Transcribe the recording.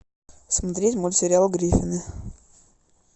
смотреть мультсериал гриффины